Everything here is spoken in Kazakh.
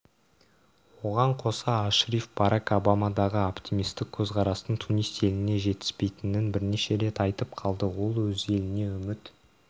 оған қоса ашриф барак обамадағы оптимистік көзқарастың тунис еліне жетіспейтінін бірнеше рет айтып қалды ол өзі еліне үміт